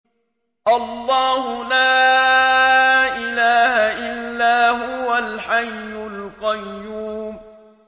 اللَّهُ لَا إِلَٰهَ إِلَّا هُوَ الْحَيُّ الْقَيُّومُ